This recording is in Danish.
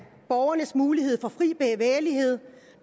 borgernes mulighed for fri bevægelighed